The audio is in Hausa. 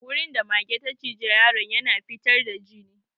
Wurin da magen ta ciji yaro na ya na fitar da jini.